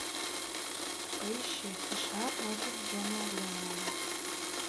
поищи сша против джона леннона